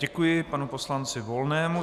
Děkuji panu poslanci Volnému.